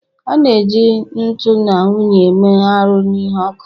a na-eji nkuu na unyi eme arụ ihe n'ọkụ